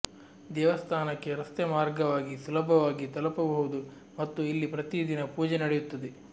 ದೇವಸ್ಥಾನಕ್ಕೆ ರಸ್ತೆ ಮಾರ್ಗವಾಗಿ ಸುಲಭವಾಗಿ ತಲುಪಬಹುದು ಮತ್ತು ಇಲ್ಲಿ ಪ್ರತಿ ದಿನ ಪೂಜೆ ನಡೆಯುತ್ತದೆ